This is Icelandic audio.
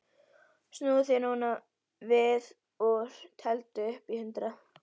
Snúðu þér núna við og teldu upp í hundrað.